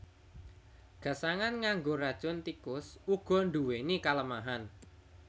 Gasangan nganggo racun tikus uga nduwèni kalemahan